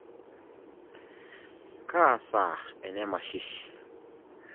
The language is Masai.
Kaa saa ene masishi?